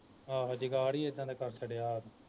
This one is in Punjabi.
ਆਹੋ ਜੁਗਾੜ ਹੀ ਇਦਾ ਦਾ ਕਰ ਛੱਡਿਆ ਆਪ ਹੀ